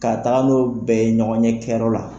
Ka taaga n'o bɛɛ ye ɲɔgɔnye kɛyɔrɔ la.